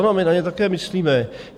Ano, my na ně také myslíme.